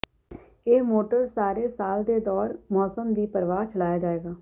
ਇਹ ਮੋਟਰਜ਼ ਸਾਰੇ ਸਾਲ ਦੇ ਦੌਰ ਮੌਸਮ ਦੀ ਪਰਵਾਹ ਚਲਾਇਆ ਜਾਵੇਗਾ